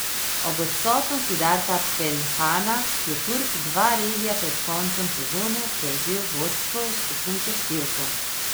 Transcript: Ob odsotnosti Darka Peljhana je Turk dva relija pred koncem sezone prevzel vodstvo v skupnem seštevku.